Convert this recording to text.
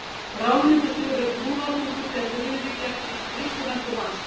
Ráðningarstjóri var brúnaþungur, þegar Friðrik gekk inn í skrifstofuna til hans.